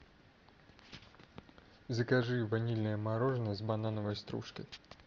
закажи ванильное мороженое с банановой стружкой